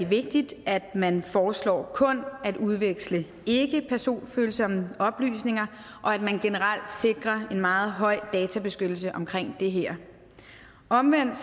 vigtigt at man foreslår kun at udveksle ikkepersonfølsomme oplysninger og at man generelt sikrer en meget høj databeskyttelse omkring det her omvendt